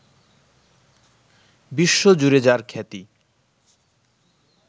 বিশ্বজুড়ে যাঁর খ্যাতি